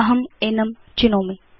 अहं एनं चिनोमि